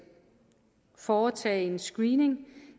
foretage en screening